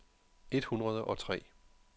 et hundrede og tre